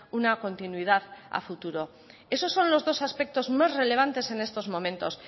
una continuidad a futuro esos son los dos aspectos más relevantes en estos momentos